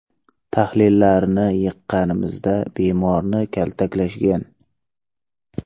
Tahlillarini yiqqanimizda bemorni kaltaklashgan.